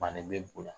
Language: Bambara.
Bannen bɛ o la